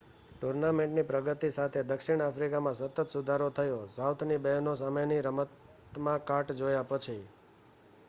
ટૂર્નામેન્ટની પ્રગતિ સાથે દક્ષિણ આફ્રિકામાં સતત સુધારો થયો સાઉથની બહેનો સામેની રમતમાં કાટ જોયા પછી